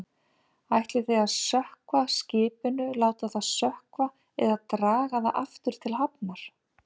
Ætlið þið að sökkva skipinu, láta það sökkva eða draga það aftur til hafnar?